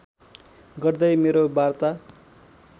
गर्दै मेरो वार्ता